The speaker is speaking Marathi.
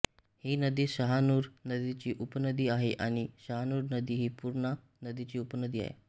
ही नदी शहानूर नदीची उपनदी आहे आणि शहानूर नदी ही पूर्णा नदीची उपनदी आहे